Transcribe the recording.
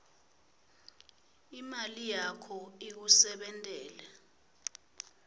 imali yakho ikusebentele